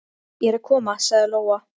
Ég er að koma, sagði Lóa-Lóa.